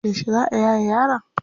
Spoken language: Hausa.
Yauce za a yaye yaron?